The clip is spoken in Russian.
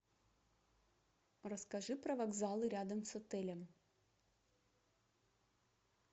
расскажи про вокзалы рядом с отелем